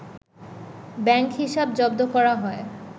bank হিসাব জব্দ করা হয়